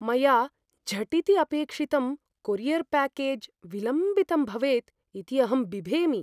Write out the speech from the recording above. मया झटिति अपेक्षितं कोरियर् प्याकेज् विलम्बितं भवेदिति अहं बिभेमि।